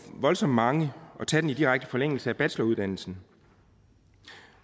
voldsomt mange at tage den i direkte forlængelse af bacheloruddannelsen